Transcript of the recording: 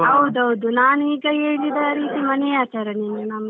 ಹೌದುದು ನಾನ್ ಈಗ ಹೇಳಿದ ರೀತಿ ಮನೆಯ ಆಚರಣೆಯೇ ಇಲ್ಲಿ ನಮ್ದು.